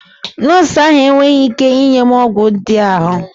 Nọọsụ ahụ enweghị ike inye m ọgwụ ndị ahụ.